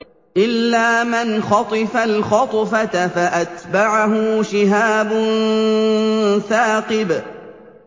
إِلَّا مَنْ خَطِفَ الْخَطْفَةَ فَأَتْبَعَهُ شِهَابٌ ثَاقِبٌ